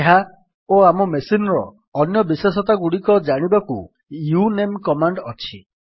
ଏହା ଓ ଆମ ମେସିନ୍ ର ଅନ୍ୟ ବିଶେଷତାଗୁଡ଼ିକ ଜାଣିବାକୁ ୟୁନେମ୍ କମାଣ୍ଡ୍ ଅଛି